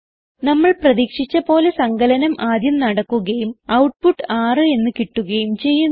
നമ്മൾ പ്രതീക്ഷിച്ച പോലെ സങ്കലനം ആദ്യം നടക്കുകയും ഔട്ട്പുട്ട് 6 എന്ന് കിട്ടുകയും ചെയ്യുന്നു